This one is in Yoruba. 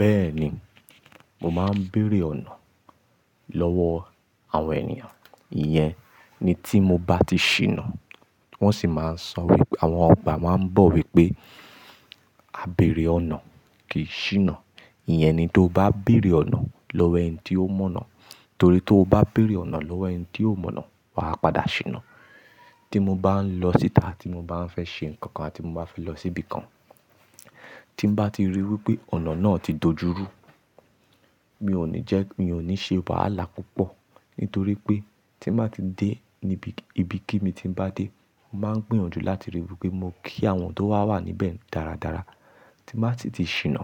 Bẹ́ẹ̀ni, mo máa ń bèrè ọ̀nà lọ́wọ́ àwọn ènìyàn. Iyẹn ni tí mo bá ti ṣìnà wọ́n sì máa ń sọ wípé àwọn ọba máa ń bọ̀ wípé "A bèrè ọ̀nà kì í ṣìnà". Iyẹn ni tó bá bèrè ọ̀nà lọ́wọ́ ẹni tí ó mọ̀nà. Torí tó bá bèrè ọ̀nà lọ́wọ́ ẹni tí ó mọ̀nà, wà á padà ṣìnà. Tí mo bá ń lọ síta tí mo bá ń fẹ́ ṣe nǹkan kan àti mo bá fẹ́ lọ síbi kan, tí mo bá ti ríi wípé ọ̀nà náà ti dojú rú, mi ò ní jẹ́ mi ò ní ṣe wàhálà púpọ̀. Nítorí pé tí màá ti dé níbi, ibi kí mi tí ń bá dé, màá ń gbìyànjú láti ríi wípé mo kí àwọn tó wàwà níbẹ̀ dáradára. Tí màá ti ti ṣìnà,